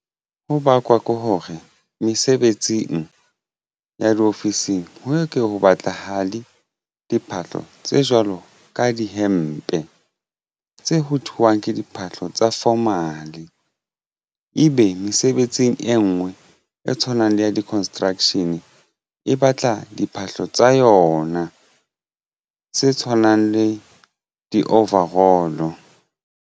Ho bakwa ke hore mesebetsing ya diofising ho ke ho batlahale diphahlo tse jwalo ka dihempe tse ho thweng ke diphahlo tsa formal ebe mesebetsing e ngwe e tshwanang le ya di construction e batla diphahlo tsa yona se tshwanang le di-overall.